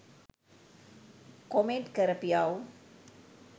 Comment කරපියව්.